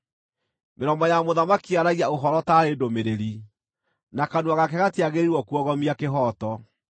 Mĩromo ya mũthamaki yaragia ũhoro taarĩ ndũmĩrĩri, na kanua gake gatiagĩrĩirwo kuogomia kĩhooto.